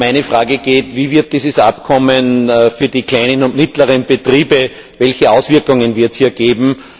Meine Frage ist Wie wird dieses Abkommen für die kleinen und mittleren Betriebe? Welche Auswirkungen wird es hier geben?